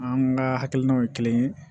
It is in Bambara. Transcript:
An ka hakilinaw ye kelen ye